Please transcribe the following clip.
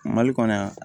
Mali kɔnɔ yan